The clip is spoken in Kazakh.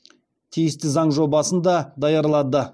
тиісті заң жобасын да даярлады